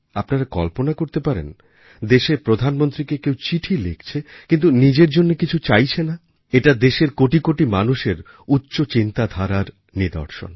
আপনারা কল্পনা করতে পারেন দেশের প্রধানমন্ত্রীকে কেউ চিঠি লিখছে কিন্তু নিজের জন্য কিছু চাইছে না এটা দেশেরকোটি কোটি মানুষের উচ্চ চিন্তাধারার নিদর্শন